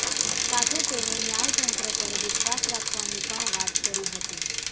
સાથે તેને ન્યાયતંત્ર પર વિશ્વાસ રાખવાની પણ વાત કરી હતી